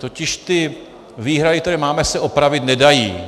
Totiž ty výhrady, které máme, se opravit nedají.